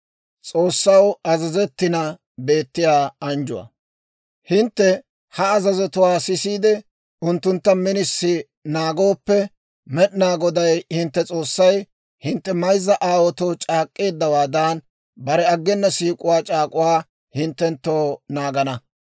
«Hintte ha azazotuwaa sisiide, unttuntta minisi naagooppe, Med'inaa Goday hintte S'oossay hintte mayzza aawaatoo c'aak'k'eeddawaadan, bare aggena siik'uwaa c'aak'uwaa hinttenttoo naagana.